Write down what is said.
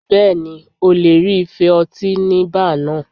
Bẹ́ẹ̀ni, ó lè rí ife ọtí ní báà náà.